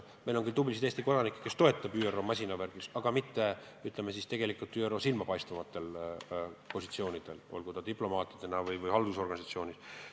Meil on küll tublisid Eesti kodanikke, kes töötavad ÜRO masinavärgis, aga mitte silmapaistvatel positsioonidel, olgu diplomaatidena või haldussüsteemis.